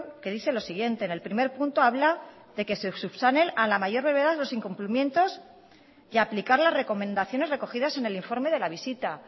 que dice lo siguiente en el primer punto habla de que se subsanen a la mayor brevedad los incumplimientos y aplicar las recomendaciones recogidas en el informe de la visita